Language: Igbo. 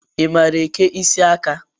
I maara eke isiaka?